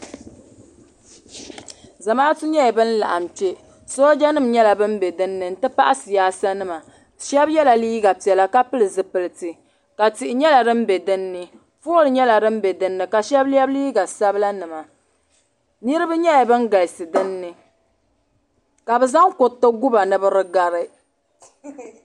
Zamaatu nyɛla ban laɣim kpe sooja nima nyɛla ban be dinni n ti pahi siyaasa nima sheba yela liiga piɛla ka pili zipilti ka tihi nyɛla din be dinni pooli nyɛla din be dinni sheba ye liiga sabla nima niriba nyɛla ban galisi dinni ka bɛ zaŋ kuriti guba ni bi di gari.